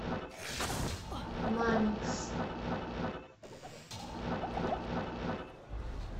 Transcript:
мамикс